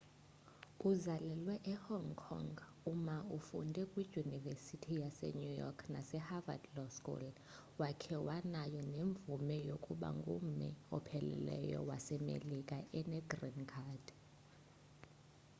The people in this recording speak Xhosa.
uzalelwe e hong kong u ma ufunde kwidyunivesithi yase new york nase harvad law school wakhe wanayo nemvume yokuba ngummi opheleleyo wasemelika ene green card